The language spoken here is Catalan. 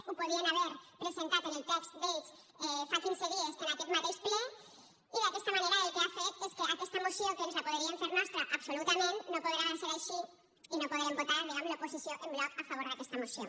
ho podien haver presentat en el text d’ells fa quinze dies en aquest mateix ple i d’aquesta manera el que ha fet és que aquesta moció que ens la podríem fer nostra absolutament no podrà ser així i no podrem votar diguem ne l’oposició en bloc a favor d’aquesta moció